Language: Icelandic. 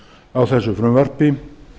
á þessu frumvarpi